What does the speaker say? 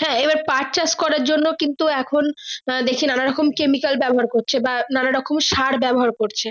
হ্যাঁ আবার পাঠ চাষ করে জন্য কিন্তু এখন আহ বেশি নানারকম chemical ব্যাবহার করছে বা নানা রকমের সার ব্যাবহার করছে